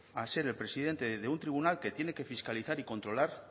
a ser el presidente de un tribunal que tiene que fiscalizar y controlar